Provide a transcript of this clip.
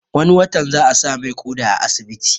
Wani watan za a sa mai ƙoda a asibiti